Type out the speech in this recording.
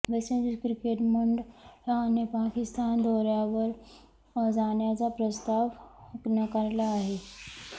waste Indies cricket मंडळाने पाकिस्तान दौऱयावर जाण्याचा प्रस्ताव नाकारला आहे